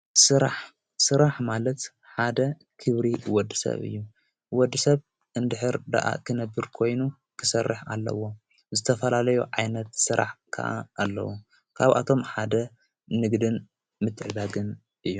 ራሥራሕ ማለት ሓደ ኪብሪ ወድ ሰብ እዩ ወድ ሰብ እንድኅር ደኣ ኽነብር ኮይኑ ክሠርሕ ኣለዎ ዘተፈላለዩ ዓይነት ሥራሕ ከዓ ኣለዉ ካብኣቶም ሓደ ንግድን ምትዕዳግን እዩ።